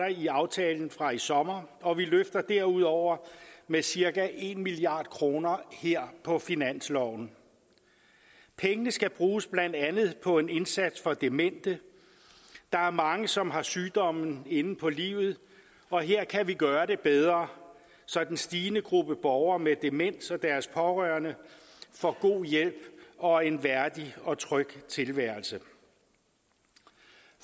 i aftalen fra i sommer og vi løfter derudover med cirka en milliard kroner her på finansloven pengene skal bruges blandt andet på en indsats for demente der er mange som har sygdommen inde på livet og her kan vi gøre det bedre så den stigende gruppe borgere med demens og deres pårørende får god hjælp og en værdig og tryg tilværelse